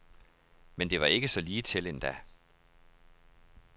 Men det var ikke så ligetil endda.